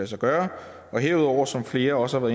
sig gøre og herudover som flere også har